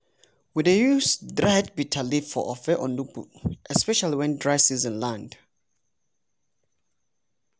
we dey use dried bitterleaf for ofe onugbu especially when dry season land.